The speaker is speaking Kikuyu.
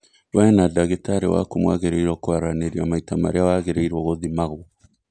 We na ndagĩtarĩ wakũ mwagĩrĩrio kwaranĩria maita marĩa wagĩrĩirwo gũthimagwo